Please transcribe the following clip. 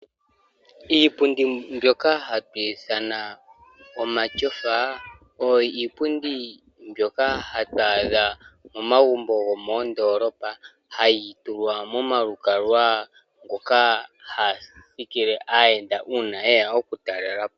Iipundi mbyono ha kutiwa omatyofa oyo hayi adhika momagumbo gomoondolopa hayi tulwa momalukalwa mono hamu thikile aayenda ngele yeya okutalelapo.